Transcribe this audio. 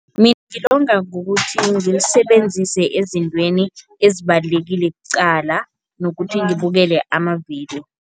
Mina ngilonga ngokuthi ngilisebenzise ezintweni ezibalulekile kuqala nokuthi ngibukele amavidiyo.